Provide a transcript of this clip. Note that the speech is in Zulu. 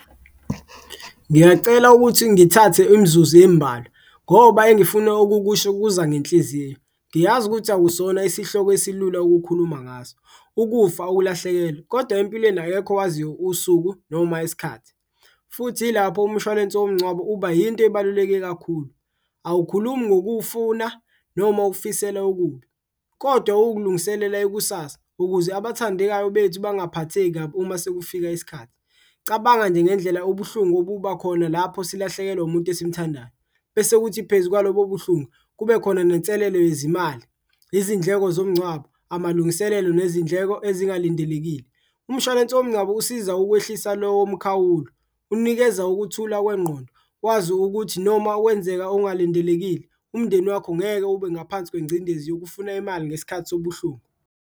Ngiyacela ukuthi ngithathe imzuzu emibalwa ngoba engifuna ukukusho kuza ngenhliziyo, ngiyazi ukuthi akusona isihloko esilula ukukhuluma ngaso, ukufa ukulahlekelwa kodwa empilweni akekho owaziyo usuku noma isikhathi. Futhi ilapho umshwalense womngcwabo uba yinto ebaluleke kakhulu, awukhulumi ngokuwufuna noma ukufisela ukubi, kodwa uwukulungiselela ikusasa ukuze abathandekayo bethu bangaphatheki uma sekufika isikhathi. Cabanga nje ngendlela ubuhlungu obuba khona lapho silahlekelwa umuntu esimthandayo, bese kuthi phezu kwalobo buhlungu kube khona nenselelo yezimali, izindleko zomngcwabo, amalungiselelo nezindleko ezingalindelekile. Umshwalense womngcwabo usiza ukwehlisa lowo mkhawulo, unikeza ukuthula kwengqondo, wazi ukuthi noma wenzeka ongalindelekile umndeni wakho ngeke ube ngaphansi kwencindezi yokufuna imali ngesikhathi sobuhlungu.